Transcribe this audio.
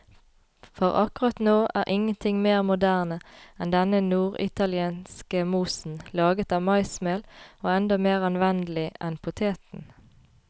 For akkurat nå er ingenting mer moderne enn denne norditalienske mosen, laget av maismel og enda mer anvendelig enn poteten.